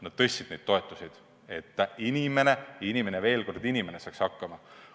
Nad tõstsid neid toetusi, et inimene – veel kord: inimene – saaks hakkama.